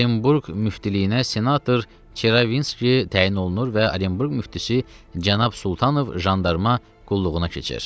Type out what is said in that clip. Orenburq müftiliyinə senator Çerevinski təyin olunur və Orenburq müftisi cənab Sultanov jandarma qulluğuna keçir.